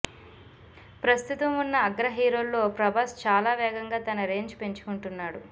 ప్రస్తుతం ఉన్న అగ్ర హీరోల్లో ప్రభాస్ చాలా వేగంగా తన రేంజ్ పెంచుకుంటున్నాడు